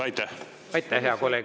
Aitäh, hea kolleeg!